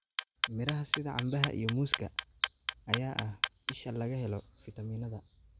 Miraha sida canbaha iyo muuska ayaa ah isha laga helo fiitamiinnada.